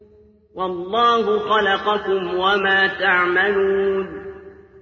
وَاللَّهُ خَلَقَكُمْ وَمَا تَعْمَلُونَ